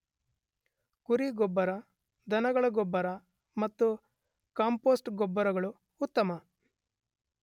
ಕುರಿ ಗೊಬ್ಬರ ದನಗಳ ಗೊಬ್ಬರ ಮತ್ತು ಕಾಂಪೋಸ್ಟ್ ಗೊಬ್ಬರಗಳು ಉತ್ತಮ.